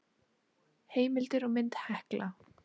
heimildir og mynd hekla